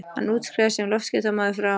Hann útskrifaðist sem loftskeytamaður frá